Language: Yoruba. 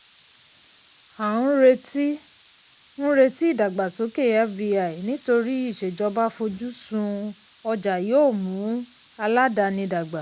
à ń retí ń retí ìdàgbàsókè fbi nítorí ìṣèjọba fojú sun ọjà yóò mú aládàáni dàgbà.